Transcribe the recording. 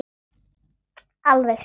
Alveg satt?